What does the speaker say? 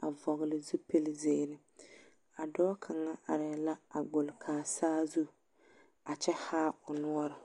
a vɔgele zupili zeere a dɔɔ kaŋa arɛɛ la agbole kaa saazu a kyɛ haa o noɔre.